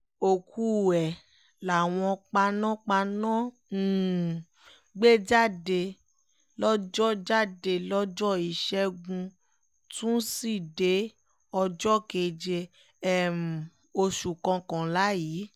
òkú ẹ̀ làwọn panápaná um gbé jáde lọ́jọ́ jáde lọ́jọ́ ìṣẹ́gun túṣídéé ọjọ́ keje um oṣù kọkànlá yìí